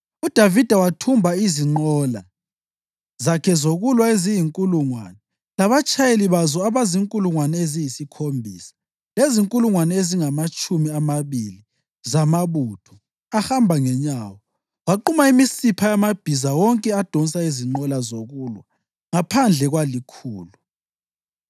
UDavida wathumba izinqola zakhe zokulwa eziyinkulungwane, labatshayeli bazo abazinkulungwane eziyisikhombisa, lezinkulungwane ezingamatshumi amabili zamabutho ahamba ngenyawo. Waquma imisipha yamabhiza wonke adonsa izinqola zokulwa ngaphandle kwalikhulu.